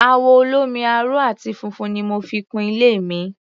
Àwọ̀ olómi-aró àti funfun ni mo fi kun ilé mi.